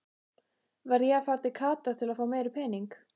Verð ég að fara til Katar til fá meiri pening?